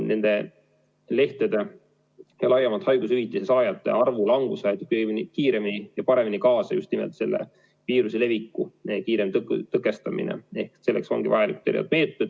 Nende lehtede ja laiemalt haigushüvitise saajate arvu langusele aitab paremini kaasa just nimelt viiruse leviku kiirem tõkestamine ja selleks ongi vajalikud erinevad meetmed.